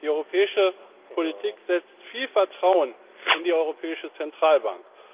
Die europäische Politik setzt viel Vertrauen in die Europäische Zentralbank.